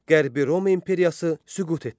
Qərbi Roma imperiyası süqut etdi.